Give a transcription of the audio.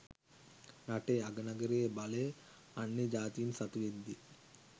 රටේ අග නගරයේ බලය අන්‍ය ජාතීන් සතුවෙද්දී